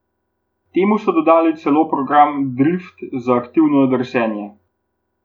Temu so dodali celo program drift za atraktivno drsenje.